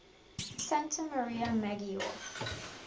santa maria maggiore